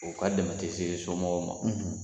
U ka dɛmɛ tɛ se somɔgɔw ma